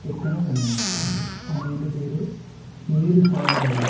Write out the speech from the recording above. ఎక్కడ కనబడదు ఆ నీళ్లు వేరే నీరు సాగునేలా.